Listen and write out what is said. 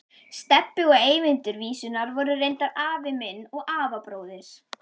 Stebbi og Eyvindur vísunnar voru reyndar afi minn og afabróðir.